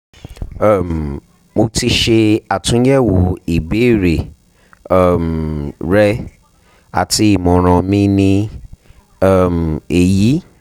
um mo ti ṣe atunyẹwo ibeere um rẹ ati imọran mi ni um eyi